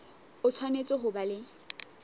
o tshwanetse ho ba le